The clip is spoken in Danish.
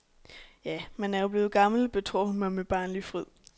Ja, man er jo blevet gammel, betror hun mig med barnlig fryd.